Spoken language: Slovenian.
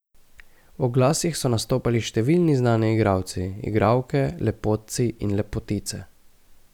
V oglasih so nastopali številni znani igralci, igralke, lepotci in lepotice.